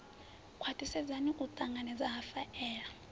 khwaṱhisedze u ṱanganedza ha faela